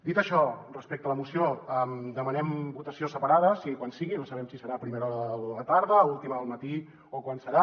dit això respecte a la moció demanem votació separada sigui quan sigui no sabem si serà a primera hora de la tarda a última del matí o quan serà